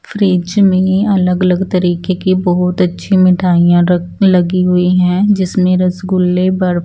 fridge में अलग अलग तरीके की बहुत अच्छी मिठाईयाँ र लगी हुई है जिसमें रसगुल्ले बर--